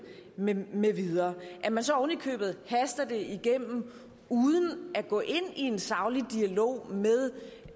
med med videre at man så ovenikøbet haster det igennem uden at gå ind i en saglig dialog med